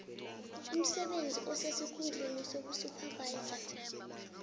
umsebenzi osesikhundleni sobusuphavayiza